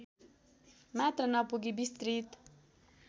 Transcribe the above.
मात्र नपुगी विस्तृत